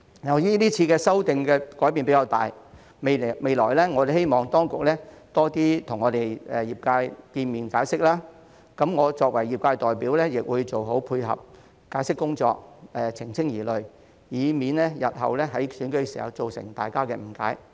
由於是次修訂改變較大，我們希望當局未來多與業界見面解釋，而我作為業界代表，亦會做好配合解釋工作、澄清疑慮，以免日後在選舉時造成大家誤解。